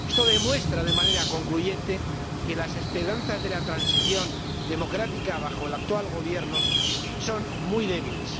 Esto demuestra de manera concluyente que las esperanzas de la transición democrática bajo el actual gobierno son muy débiles.